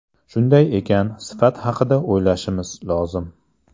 Shunday ekan, sifat haqida o‘ylashimiz lozim.